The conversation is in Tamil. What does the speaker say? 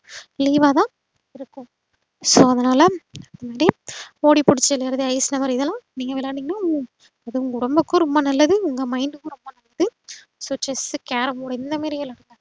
leave ஆதான் இருக்கும் so அதுனால daily ஓடிப்புடிச்சு விளையாடுறது ice number இதுலா நீங்க விளையாண்டிங்கன்னா உங்க ஒடம்புக்கும் ரொம்ப நல்லது உங்க mind க்கும் ரொம்ப நல்லது so chess carrom board இந்தமாறி விளையாடுங்க